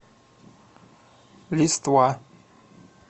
листва